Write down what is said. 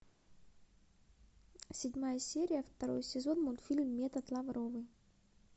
седьмая серия второй сезон мультфильм метод лавровой